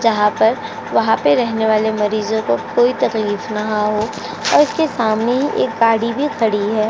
जहां पर वहाँ पर रहने वाले मरीजों को कोई तकलीफ ना हो और उसके सामने एक गाड़ी भी खड़ी है।